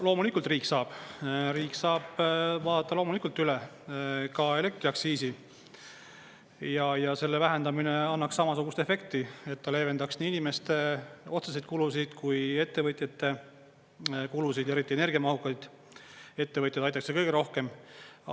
Loomulikult riik saab, riik saab vaadata loomulikult üle ka elektriaktsiisi ja selle vähendamine annaks samasugust efekti, et ta leevendaks nii inimeste otseseid kulusid kui ettevõtjate kulusid, eriti energiamahukaid ettevõtteid aitaks see kõige rohkem.